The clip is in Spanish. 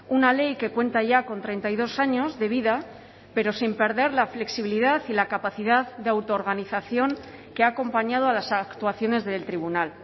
una ley que cuenta ya con treinta y dos años de vida pero sin perder la flexibilidad y la capacidad de autoorganización que ha acompañado a las actuaciones del tribunal